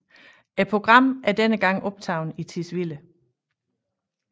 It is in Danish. Programmet er denne gang optaget i Tisvilde